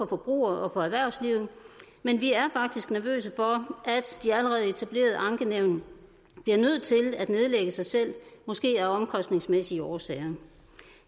forbrugere og for erhvervslivet men vi er faktisk nervøse for at de allerede etablerede ankenævn bliver nødt til at nedlægge sig selv måske af omkostningsmæssige årsager